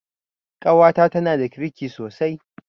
Ƙawata tanada kirki sosai